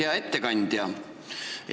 Hea ettekandja!